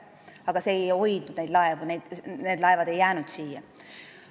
Aga see ei hoidnud neid laevu meie lipu all, need laevad ei jäänud siia.